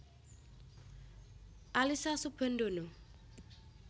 Alyssa Soebandono